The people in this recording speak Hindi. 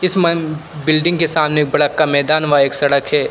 इस मन बिल्डिंग के सामने बड़ा का मैदान व एक सड़क है।